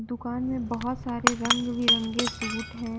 दुकान में बहुत सारे रंग-बिरंगे सूट हैं।